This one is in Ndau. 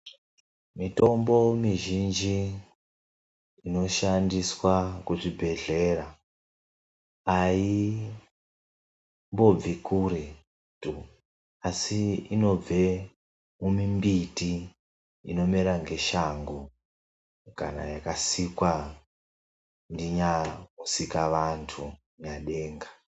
Mitombo mizhinji inoshandiswa kuzvibhedhlera aimbobvi kuretu, asi inobve mumimbiti inomera ngeshango kana yakasikwa ndinyamusikavantu Nyadenga.